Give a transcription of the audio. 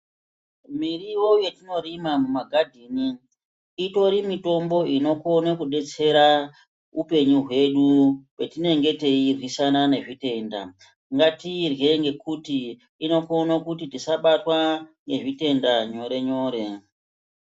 Miriwo yatinorima mumagadheni itori mitombo inokona kudetsera upenyu hwenyu hwatinenge tairwisana nezvitenda .Ngatiirye ngekuti inokona kuti tisabatwa ngezvitenda nyore nyore .